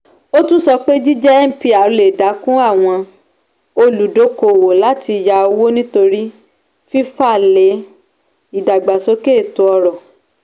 ó tún sọ pé jíjẹ mpr lè dẹ́kun àwọn olùdókòòwò láti yá owó nítorí náà fífalẹ̀ ìdàgbàsókè ètò ọrọ̀.